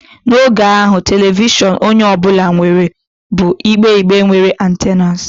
N'oge ahụ, telivishọn onye ọ bụla nwere bụ igbe igbe nwere antennas.